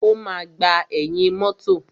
O máa gbà ẹ̀yìn mọ́tọ̀.